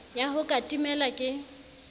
ya ho ka timela ke